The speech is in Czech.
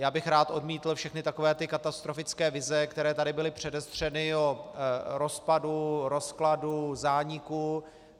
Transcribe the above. Já bych rád odmítl všechny takové ty katastrofické vize, které tady byly předestřeny o rozpadu, rozkladu, zániku.